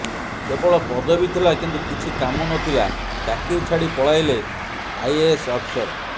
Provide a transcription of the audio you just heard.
କେବଳ ପଦବୀ ଥିଲା କିନ୍ତୁ କିଛି କାମ ନଥିଲା ଚାକିରି ଛାଡ଼ି ପଳାଇଲେ ଆଇଏଏସ୍ ଅଫିସର